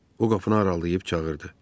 O qapını aralayıb çağırdı.